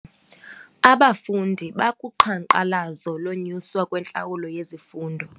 Abafundi bakuqhankqalazo lokunyuswa kwentlawulo yezifundo.